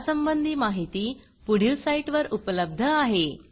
यासंबंधी माहिती पुढील साईटवर उपलब्ध आहे